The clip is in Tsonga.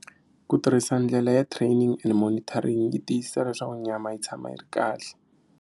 Ku tirhisa ndlela ya training and monitoring yi tiyisisa leswaku nyama yi tshama yi ri kahle.